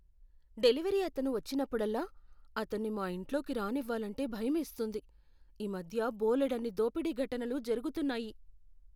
Delivery అతను వచ్చినప్పుడల్లా, అతన్ని మా ఇంట్లోకి రానివ్వాలంటే భయమేస్తుంది. ఈ మధ్య బోలెడన్ని దోపిడీ ఘటనలు జరుగుతున్నాయి.